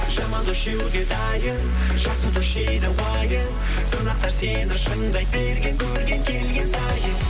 жаман дос жеуге дайын жақсы дос жейді уайым сынақтар сені шыңдай берген көрген келген сайын